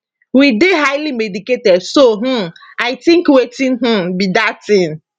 we dey highly medicated so um i tink wetin um be dat tin